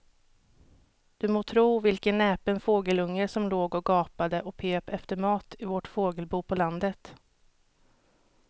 Du må tro vilken näpen fågelunge som låg och gapade och pep efter mat i vårt fågelbo på landet.